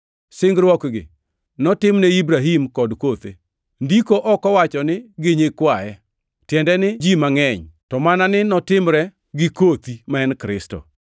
Singruokgi notimne Ibrahim kod kothe. Ndiko ok owacho gi nyikwaye, tiende ni ji mangʼeny, to mana ni notime gi “kothi” + 3:16 \+xt Chak 12:7; 13:15; 24:7\+xt* ma en Kristo.